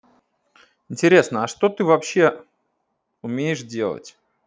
интересно а что ты вообще умеешь делать